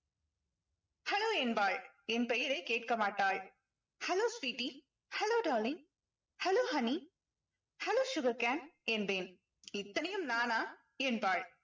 hello என்பாள். என் பெயரை கேட்க மாட்டாள். hello sweety hello darling hello honey hello sugarcane என்பேன். இத்தனையும் நானா என்பாள்.